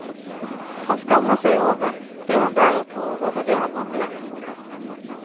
Han skammer seg over det han bærer på og over det han mangler.